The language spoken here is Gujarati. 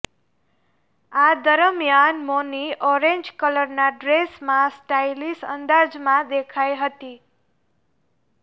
આ દરમિયાન મૌની ઓરેન્જ કલરના ડ્રેસમાં સ્ટાઇલિશ અંદાજમાં દેખાઈ હતી